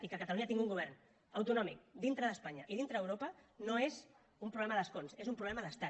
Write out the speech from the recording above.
i que catalunya tingui un govern autonòmic dintre d’espanya i dintre d’europa no és un problema d’escons és un problema d’estat